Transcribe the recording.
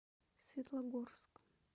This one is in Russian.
светлогорск